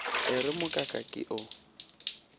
e re mokaka ke o